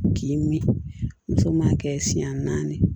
K'i mi muso ma kɛ siɲɛ naani ye